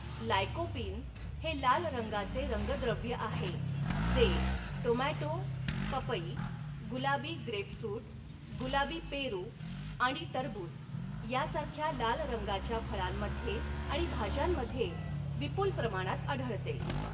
Lycopene हे लाल रंगाचे रंगद्रव्य आहे जे टोमॅटो पपई गुलाबी ग्रेपफृट गुलाबी पेरू आणि टरबूज यासारख्या लाल रंगाच्या फळांमध्ये आणि भाज्यांमध्ये विपुल प्रमाणात आढळते.